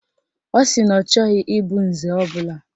Ọ sị na ọ chọghị ịbụ nze ọbụla